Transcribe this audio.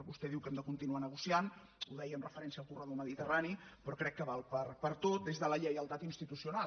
vostè diu que hem de continuar negociant ho deia amb referència al corredor mediterrani però crec que val per a tot des de la lleialtat institucional